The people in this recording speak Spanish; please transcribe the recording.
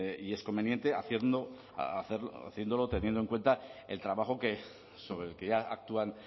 y es conveniente hacerlo teniendo en cuenta el trabajo que sobre el que ya actúan